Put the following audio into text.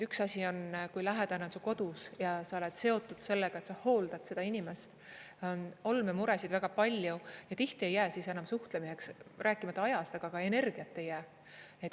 Üks asi on, kui lähedane on su kodus ja sa oled seotud sellega, et sa hooldad seda inimest, on olmemuresid väga palju ja tihti ei jää siis enam suhtlemiseks, rääkimata ajast, aga ka energiat ei jää.